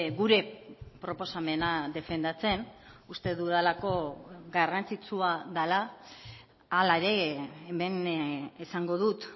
gure proposamena defendatzen uste dudalako garrantzitsua dela hala ere hemen esango dut